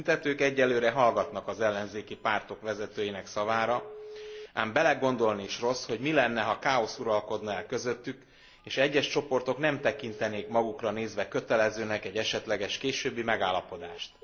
A tüntetők egyelőre hallgatnak az ellenzéki pártok vezetőinek szavára, ám belegondolni is rossz, hogy mi lenne, ha káosz uralkodna el közöttük, és egyes csoportok nem tekintenének magukra nézve kötelezőnek egy esetleges későbbi megállapodást.